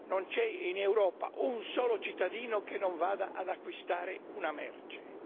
Non c'è in Europa un solo cittadino che non vada ad acquistare una merce.